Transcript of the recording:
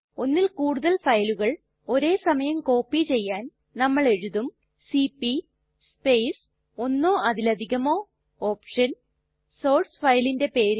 ഒന്നിൽ കൂടുതൽ ഫയലുകൾ ഒരേ സമയം കോപ്പി ചെയ്യാൻ നമ്മൾ എഴുതും സിപി സ്പേസ് ഒന്നോ അതിലധികമോ OPTIONസോർസ് ഫയലിന്റെ പേര്